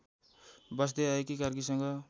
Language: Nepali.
बस्दै आएकी कार्कीसँग